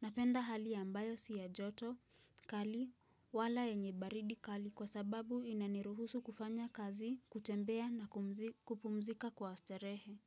Napenda hali ya ambayo si ya joto kali, wala yenye baridi kali kwa sababu inaniruhusu kufanya kazi, kutembea na kupumzika kwa starehe.